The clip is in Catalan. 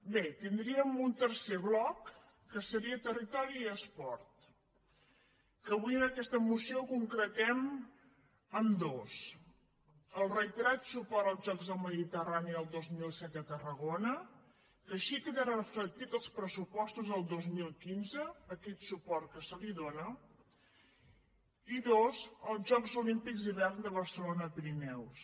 bé tindríem un tercer bloc que seria territori i esport que avui en aquesta moció concretem en dos el reiterat suport als jocs del mediterrani el dos mil disset a tarragona que així quedarà reflectit als pressupostos del dos mil quinze aquest suport que s’hi dóna i dos els jocs olímpics d’hivern de barcelona pirineus